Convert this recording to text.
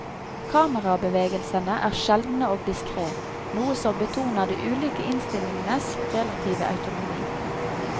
Kamerabevegelsene er sjeldne og diskrét, noe som betoner de ulike innstillingenes relative autonomi.